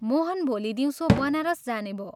मोहन भोलि दिउँसो बनारस जाने भो।